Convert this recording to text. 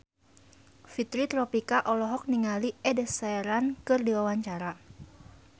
Fitri Tropika olohok ningali Ed Sheeran keur diwawancara